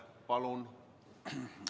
Palun!